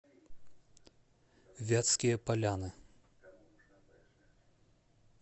вятские поляны